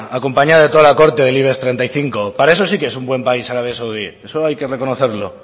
acompañado de toda la corte del ibexmenos treinta y cinco para eso sí que es un buen país arabia saudí eso hay que reconocerlo